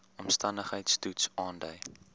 omstandigheids toets aandui